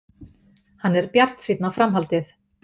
Hann er bjartsýnn á framhaldið.